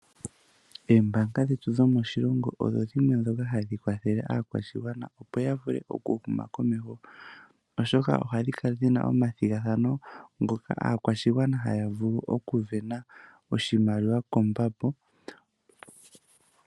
Oombaanga dhetu dhomoshilongo odho dhimwe ndhoka hadhi kwathele aakwashigwana opo yavule okuhuma komeho, oshoka ohadhi kala dhina omathigathano, ngoka aakwashigwana haya vulu okwiisindanena oshimaliwa koomuma.